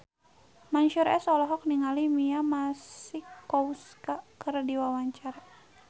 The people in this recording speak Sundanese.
Mansyur S olohok ningali Mia Masikowska keur diwawancara